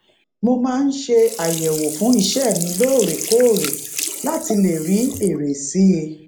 mo maa n se ayewo fun ise mi loorekoore lati le ri ere si i